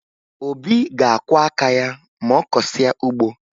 Obi ga-akwọ aka ya ma ọ kọsịa ugbo